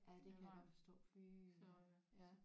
Ja det kan jeg godt forstå fy ja